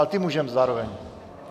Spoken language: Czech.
A ty můžeme zároveň?